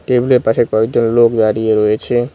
টেবিলের পাশে কয়েকজন লোক দাঁড়িয়ে রয়েছে।